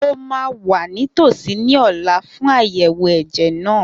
Mo ma wà nítòsí ní ọ̀la fún àyẹ̀wò ẹ̀jẹ̀ náà